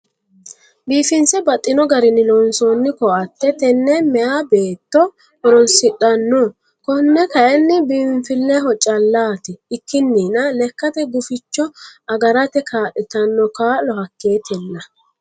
Biifinse baxxino garinni loonsonni koatte tene meya beetto horonsidhanoho kone kayinni biinfileho callati ikkininna lekkate guficho agarate kaa'littano kaa'lo hakketella.